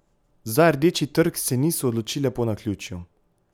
Za Rdeči trg se niso odločile po naključju.